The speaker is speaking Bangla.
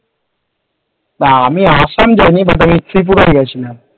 আমি আসাম যাইনি but ত্রিপুরা গেছি।